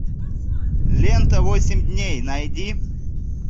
лента восемь дней найди